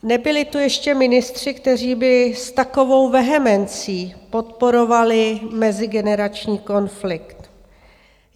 Nebyli tu ještě ministři, kteří by s takovou vehemencí podporovali mezigenerační konflikt.